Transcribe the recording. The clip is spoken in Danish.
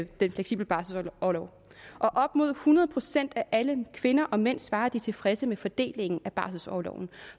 den fleksible barselorlov op mod hundrede procent af alle kvinder og mænd svarer at de er tilfredse med fordelingen af barselorloven